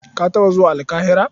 Ka taɓa zuwa Alƙahira?